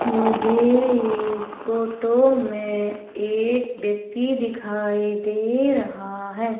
मुझे इस फोटो में एक व्यक्ति दिखाई दे रहा हैं।